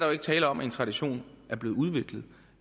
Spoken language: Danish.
jo ikke tale om at en tradition er blevet udviklet